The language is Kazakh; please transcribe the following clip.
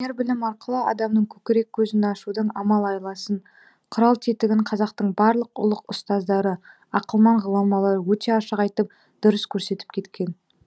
өнер білім арқылы адамның көкірек көзін ашудың амал айласын құрал тетігін қазақтың барлық ұлық ұстаздары ақылман ғұламалары өте ашық айтып дұрыс көрсетіп кеткен